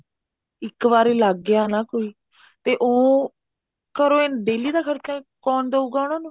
ਇੱਕ ਵਾਰੀ ਲੱਗ ਗਿਆ ਨਾ ਕੋਈ ਤੇ ਉਹ ਘਰੋ daily ਦਾ ਖਰਚਾ ਕੋਣ ਦਉਗਾ ਉਹਨਾ ਨੂੰ